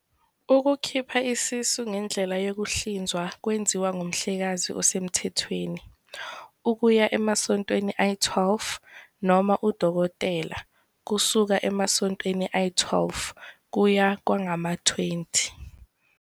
Ukukhipha isisu ngendlela yokuhlinzwa kwenziwa ngumhlengikazi osemthethweni, ukuya emasontweni ayi-12, noma udokotela, kusuka emasontweni ayi-12 kuya kwangama-20.